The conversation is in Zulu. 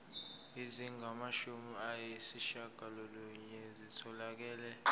ezingamashumi ayishiyagalolunye zitholakele